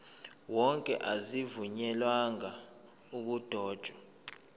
wonke azivunyelwanga ukudotshwa